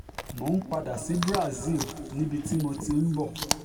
mo ń padà sí brazil níbi tí mo ti ń bọ̀